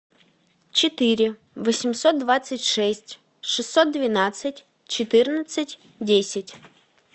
четыре восемьсот двадцать шесть шестьсот двенадцать четырнадцать десять